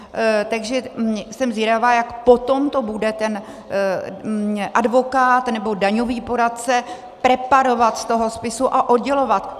Takže jsem zvědavá, jak potom to bude ten advokát nebo daňový poradce preparovat z toho spisu a oddělovat.